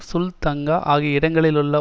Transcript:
சுல் தங்கா ஆகிய இடங்களிலுள்ள